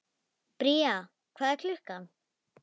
Bría, hvað er klukkan?